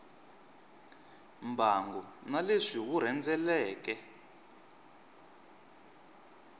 mbangu na leswi wu rhendzeleke